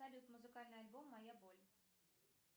салют музыкальный альбом моя боль